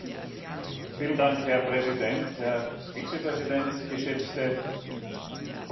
Herr Präsident, Herr Vizepräsident, geschätzte Kolleginnen und Kollegen!